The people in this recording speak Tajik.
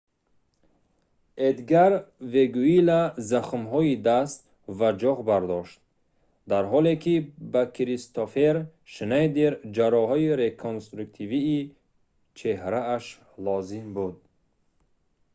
эдгар вегуила захмҳои даст ва ҷоғ бардошт дар ҳоле ки ба кристоффер шнайдер ҷарроҳии реконструктивии чеҳрааш лозим буд